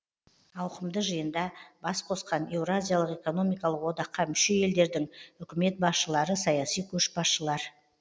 ауқымды жиында бас қосқан еуразиялық экономикалық одаққа мүше елдердің үкімет басшылары саяси көшбасшылар